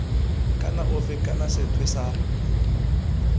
kana ofe kana sethwe sa